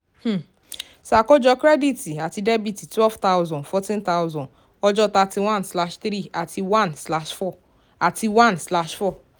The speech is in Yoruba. um ṣàkójọ credit àti debit twelve thousand fourteen thousand ọjọ́ thirty one slash three àti one slash four àti one slash four